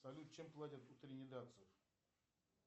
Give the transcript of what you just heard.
салют чем платят у тринидадцев